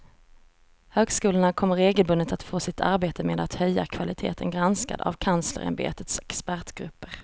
Högskolorna kommer regelbundet att få sitt arbete med att höja kvaliteten granskad av kanslersämbetets expertgrupper.